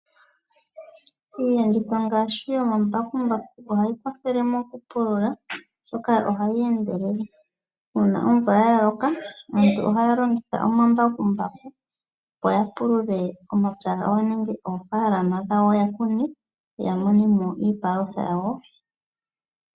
Iiyenditho ngaashi yoombakumbaku ohayi kwathele moku pulula oshoka ohayi endelele. Uuna omvula ya loka aantu ohaya longitha omambakumbaku, opo ya pulule omapya gawo nenge oofaalama dhawo ya June mone mo iipalutha yawo.